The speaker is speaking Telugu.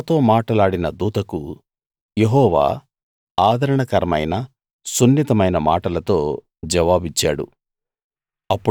నాతో మాటలాడిన దూతకు యెహోవా ఆదరణకరమైన సున్నితమైన మాటలతో జవాబిచ్చాడు